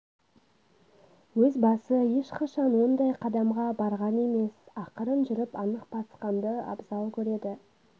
өз басы ешқашан ондай қадамға барған емес ақырын жүріп анық басқанды абзал көреді